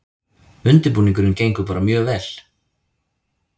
Undirbúningurinn gengur bara mjög vel